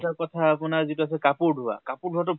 এটা কথা, আপোনাৰ যিটো আছে, কাপোৰ ধোৱা, কাপোৰ ধোৱাতো